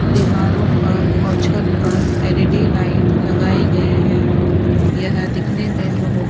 दीवारो पर और छत पर एल_ई_डी लाइट लगाई गई है यहा दिखाने में बहुत --